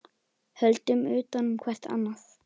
Höldum utan um hvert annað.